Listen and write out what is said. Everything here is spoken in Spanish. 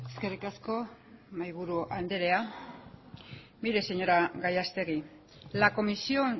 eskerrik asko mahaiburu andrea mire señora gallastegui la comisión